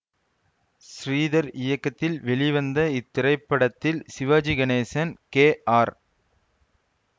ஸ்ரீதர் இயக்கத்தில் வெளிவந்த இத்திரைப்படத்தில் சிவாஜி கணேசன் கே ஆர்